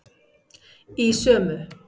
Í sömu